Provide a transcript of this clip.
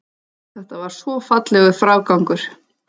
Þetta var svo fallegur frágangur.